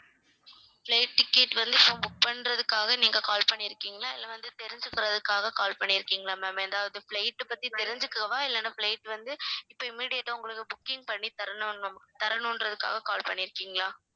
flight ticket வந்து இப்ப book பண்றதுக்காக நீங்க call பண்ணிருக்கீங்களா இல்ல வந்து தெரிஞ்சுகிறதுக்காக call பண்ணியிருக்கீங்களா ma'am எதாவது flight பத்தி தெரிஞ்சுக்கவா இல்லனா flight வந்து இப்ப immediate ஆ உங்களுக்கு booking பண்ணி தரணும்னும் தரணுன்றதுக்காக call பண்ணிருக்கீங்களா?